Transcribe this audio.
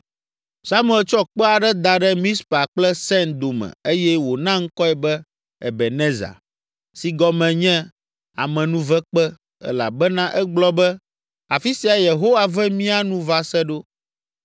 Samuel tsɔ kpe aɖe da ɖe Mizpa kple Sen dome eye wòna ŋkɔe be, “Ebenezer” si gɔme nye “Amenuvekpe” elabena egblɔ be, “Afi siae Yehowa ve mía nu va se ɖo!”